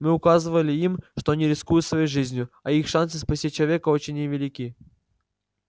мы указывали им что они рискуют своей жизнью а их шансы спасти человека очень невелики